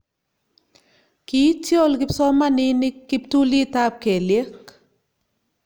kiityol kipsomaninik kiptulitab kelyek